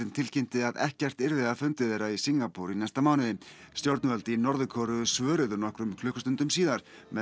tilkynnti að ekkert yrði af fundi þeirra í Singapúr í næsta mánuði stjórnvöld í Norður Kóreu svöruðu nokkrum klukkustundum síðar með